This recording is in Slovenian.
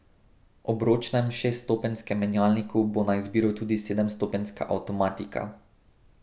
Ob ročnem šeststopenjskem menjalniku bo na izbiro tudi sedemstopenjska avtomatika.